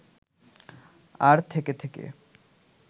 আর থেকে থেকে